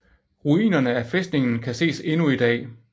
Ruinerne af fæstningen kan ses endnu i dag